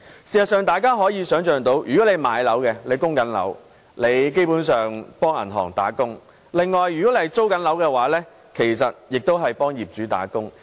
事實上，大家可以想象，那些買了物業並正在供樓的人基本上是為銀行打工，而那些租樓的人其實亦是為業主打工。